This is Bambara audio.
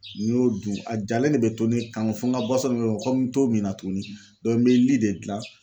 N'i y'o dun a jalen de bɛ to ne kan fo n ka kɔmi n t'o minna tuguni n bɛ li de dilan.